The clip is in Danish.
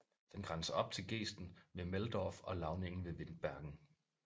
Den grænser op til gesten ved Meldorf og lavningen ved Windbergen